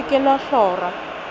le se ke la hlora